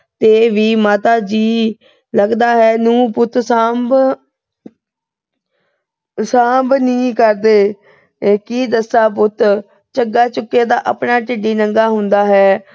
ਤੇ ਵੀ। ਮਾਤਾ ਜੀ, ਲੱਗਦਾ ਏ ਨੂੰਹ-ਪੁੱਤ ਸਾਂਭ ਅਹ ਸਾਂਭ ਨਹੀਂ ਕਰਦੇ। ਕੀ ਦੱਸਾ ਪੁੱਤ। ਝੱਗਾ ਚੁੱਕੇ ਦਾ ਆਪਣਾ ਢਿੱਡ ਹੀ ਨੰਗਾ ਹੁੰਦਾ ਏ।